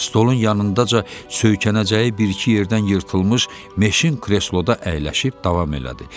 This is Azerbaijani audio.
Stolun yanındaca söykənəcəyi bir-iki yerdən yırtılmış meşin kresloda əyləşib davam elədi.